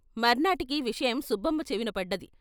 మర్నాటికీ విషయం సుబ్బమ్మ చెవినపడ్డది.